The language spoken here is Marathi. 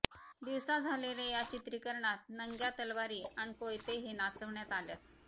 दिवसा झालेल्या या चित्रीकरणात नंग्या तलवारी अन कोयते हे नाचवण्यात आल्यात